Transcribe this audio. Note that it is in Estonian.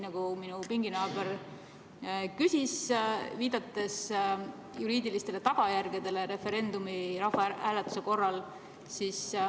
Minu pinginaaber küsis, viidates juriidilistele tagajärgedele referendumi, rahvahääletuse korral.